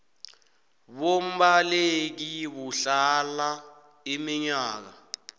bombaleki buhlala iminyaka